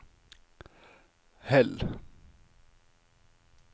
Hell